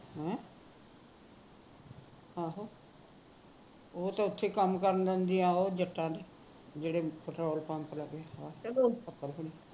ਆਹੋ ਉਹ ਤਾਂ ਉੱਥੇ ਕੰਮ ਕਰ ਲਿਦੀ ਹੈ ਉਹ ਜੱਟਾ ਦੇ ਜਿਹੜੇ petrol pump ਦੇ ਲਾਗੇ ਨੇ